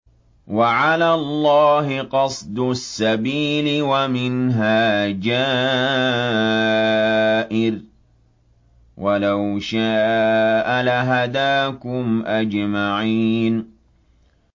وَعَلَى اللَّهِ قَصْدُ السَّبِيلِ وَمِنْهَا جَائِرٌ ۚ وَلَوْ شَاءَ لَهَدَاكُمْ أَجْمَعِينَ